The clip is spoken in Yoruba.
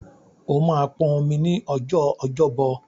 O máa pọn omi ní ọjọ́ Ọjọ́bọ̀.